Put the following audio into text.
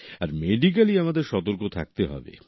আর medically আমাদের সতর্ক থাকতে হবে